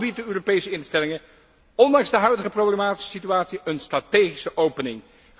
Dan bieden de Europese instellingen, ondanks de huidige problematische situatie, een strategische opening.